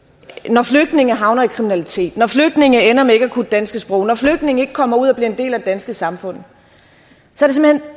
når flygtninge havner i kriminalitet når flygtninge ender med ikke at kunne det danske sprog når flygtninge ikke kommer ud og bliver en del af det danske samfund så